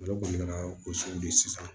Ale kɔni ka gosi de sisan